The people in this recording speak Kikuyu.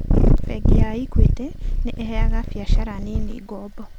Bengi ya Equity nĩ ĩheaga biacara nini ngombo.